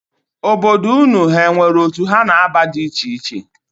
Obodo unu ha nwere otu ha na-aba di icheiche?